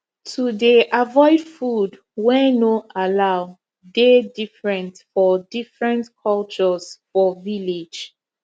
to dey avoid food wey no allow dey different for different cultures for village